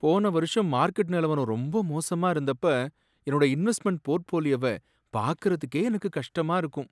போன வருஷம் மார்க்கெட் நிலவரம் ரொம்ப மோசமா இருந்தப்ப என்னோட இன்வெஸ்ட்மெண்ட் போர்ட்ஃபோலியோவ பார்க்கறதுக்கே எனக்கு கஷ்டமா இருக்கும்.